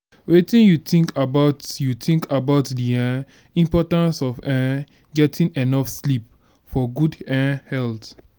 wetin you think about you think about di um importance of um getting enough sleep for good um health?